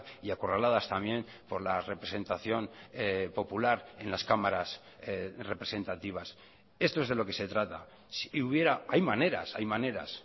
y acorraladas también por la representación popular en las cámaras representativas esto es de lo que se trata si hubiera hay maneras hay maneras